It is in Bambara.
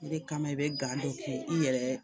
O de kama i bɛ gan dɔ kɛ i yɛrɛ